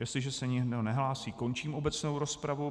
Jestliže se nikdo nehlásí, končím obecnou rozpravu.